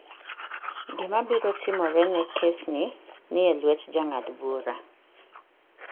Gima biro timore ne kesni nie lwet jang'ad-bura.